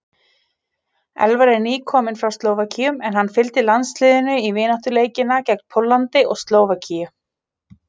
Elvar er nýkominn frá Slóvakíu en hann fylgdi landsliðinu í vináttuleikina gegn Póllandi og Slóvakíu.